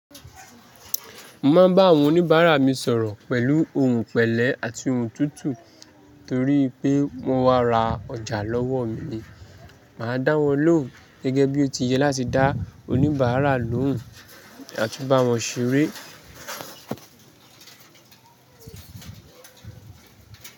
Mo máa bá àwọn oníbàárà mi sọ̀rọ̀ pẹ̀lú ohun pẹ̀lẹ́ àti ohun tútù. Torí́ pé wọ́n wá ra ọjà lọ́wọ́ mi, màá dáwọ́ lóhùn gẹ́gẹ́ bí ó ti yẹ láti dá oníbàárà lóhùn àtun bá wọn ṣeré.